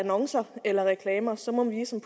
annoncer eller reklamer så må vi som